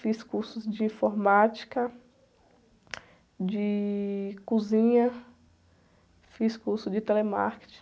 Fiz cursos de informática, de cozinha, fiz curso de telemarketing.